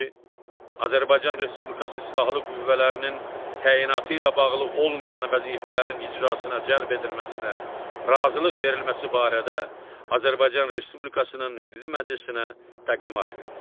Azərbaycan Respublikası Silahlı Qüvvələrinin təyinatı ilə bağlı olmayan vəzifələrin icrasına cəlb edilməsinə razılıq verilməsi barədə Azərbaycan Respublikasının Milli Məclisinə təqdimat verir.